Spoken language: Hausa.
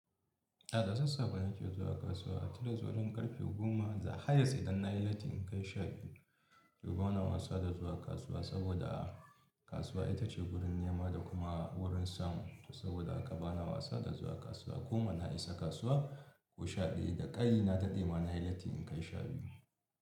A da sassafe nake zuwa kasuwa, tun da zuwa karfe goma, highest idan na yi latti in kai shabiyu. To bana wasa da zuwa kasuwa saboda kasuwa ita ce wurin nema da kuma wurin samu to saboda haka bana wasa da zuwa kasuwa. Goma na isa kasuwa ko sha ɗaya da ƙayi na taɗe ma na yi latti in kai shafi.